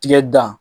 Tigɛ dan